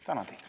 Tänan!